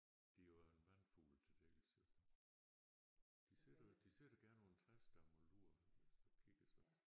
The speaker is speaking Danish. Det er jo også en vandfugl til dels jo de sidder de sidder gerne på en træstamme og lurer og kigger sådan